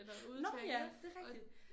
Nåh ja det er rigtigt